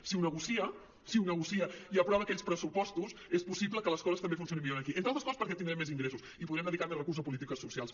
si ho negocia si ho negocia i aprova aquells pressupostos és possible que les coses també funcionin millor aquí entre altres coses perquè tindrem més ingressos i podrem dedicar més recursos a polítiques socials